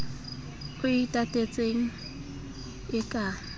o e tatetseng e ka